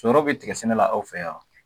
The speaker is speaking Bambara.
Sɔrɔw be tigɛ sɛnɛ la aw fɛ yan